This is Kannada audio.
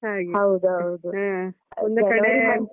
ಹಾಗೆ ಒಂದು ಕಡೆ.